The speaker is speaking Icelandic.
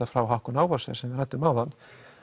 frá Hauck og Aufhäuser sem við ræddum áðan